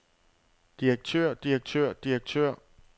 direktør direktør direktør